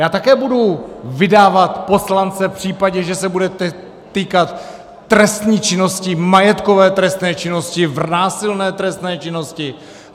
Já také budu vydávat poslance v případě, že se bude týkat trestné činnosti, majetkové trestné činnosti, násilné trestné činnosti.